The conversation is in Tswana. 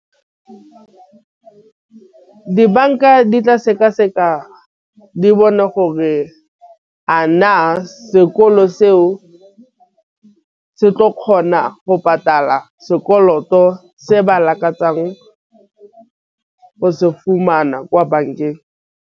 Dibanka di tla sekaseka di bone gore a na sekolo seo se tlo kgona go patala sekoloto se ba lakatsa go se fumana kwa bankeng.